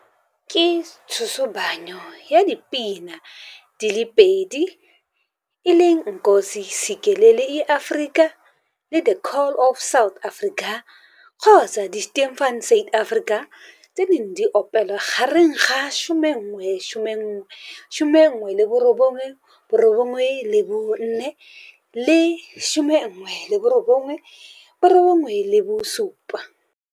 Ke tshosobanyo ya dipina di le pedi Nkosi Sikelel iAfrika le The Call of South Africa Die Stem van Suid-Afrika tse di neng di opelwa gareng ga 1994 le 1997.